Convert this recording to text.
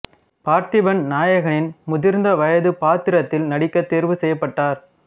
பார்த்திபன் நாயகனின் முதிர்ந்த வயது பாத்திரத்தில் நடிக்க தேர்வு செய்யப்பட்டார்